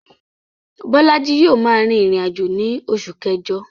Bólájí yio ma rìn ìrìnàjò ni osù kẹ́jo